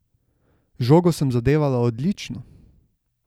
Žogo sem zadevala odlično.